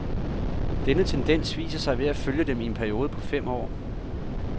Denne tendens viser sig ved at følge dem i en periode på fem år.